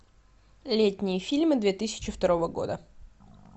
летние фильмы две тысячи второго года